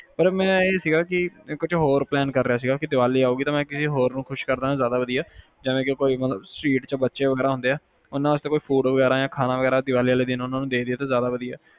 ਪਰ ਮੇਰਾ ਇਹ ਸੀਗਾ ਕਿ ਮੈਂ ਕੁਛ ਹੋਰ plan ਕਰ ਰਿਹਾ ਸੀ ਕਿ ਕਿਸੇ ਹੋਰ ਖੁਸ਼ ਕਰਕੇ ਜਿਵੇ street ਚ ਬੱਚੇ ਹੁੰਦੇ ਆ ਉਹਨਾਂ ਵਾਸਤੇ food ਵਗੈਰਾ ਯਾ ਖਾਣਾ ਵਗੈਰਾ ਉਹਨਾਂ ਨੂੰ ਦੀਵਾਲੀ ਵਾਲੇ ਦਿਨ ਦੇ ਦਿੱਤਾ ਜਾਵੇ ਤਾ ਜ਼ਿਆਦਾ ਵਧੀਆ